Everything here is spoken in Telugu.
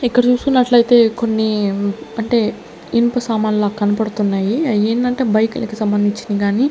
ఇక్కడ చూస్తున్నట్లయితే కొన్ని అంటే ఇనుప సామాన్లు లా కనపడుతున్నాయి అయ్యిందంటే బైకులకు సంబంధించింది కానీ.